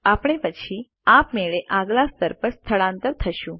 આપણે પછી આપમેળે આગલા સ્તર પર સ્થળાંતર થશું